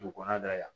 Dugu kɔnɔna na yan